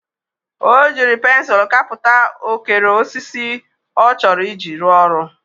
O jiri pensul kaputa okere osisi o choro iji ru oru.